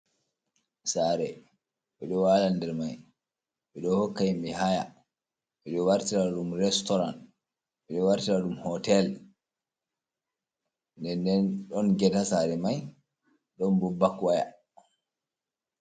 Sare ɓeɗon waala nder mai, ɓeɗon hokka yimɓe haya, ɓeɗon wartiraɗum restoran , ɓeɗon wartiraɗum hotel, nden Nden ɗon get saare mai ɗon bo bak waya.